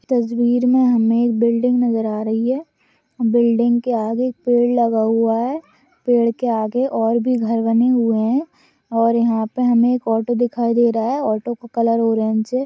तस्वीर मे हमे एक बिल्डिंग नजर आ रही है। बिल्डिंग के आगे एक पेड़ लगा हुआ है। पेड़ के आगे और भी घर बने हुए है यहा पर हमे एक ऑटो दिखाई दे रहा है। ऑटो का कलर ऑरेंज है।